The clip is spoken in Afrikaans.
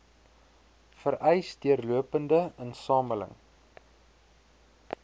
vereis deurlopende insameling